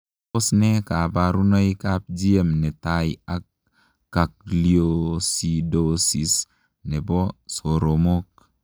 Tos nee kabarunoik ap GM netai ak gangliosidosis nepoo somok?